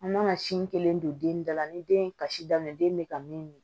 An mana sin kelen don den da la ni den ye kasi daminɛ den bɛ ka min